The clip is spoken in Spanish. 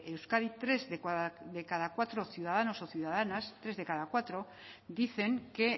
euskadi tres de cada cuatro ciudadanos o ciudadanas tres de cada cuatro dicen que